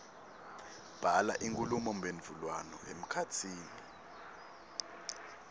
bhala inkhulumomphendvulwano emkhatsini